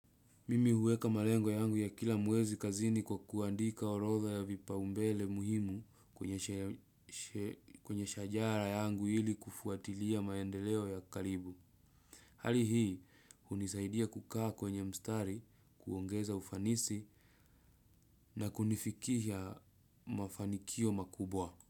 Mimi huweka malengo ya yangu ya kila muwezi kazini kwa kuandika orodha ya vipaumbele muhimu kwenye shajara yangu ili kufuatilia maendeleo ya karibu. Hali hii, hunisaidia kukaa kwenye mstari kuongeza ufanisi na kunifikihia mafanikio makubwa.